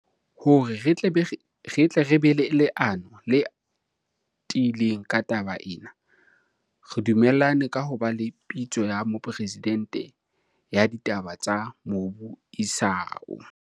Hore re tle re be le leano le tiileng ka taba ena, re du mellane ka ho ba le Pitso ya Mopresidente ya Ditaba tsa Mobu isao.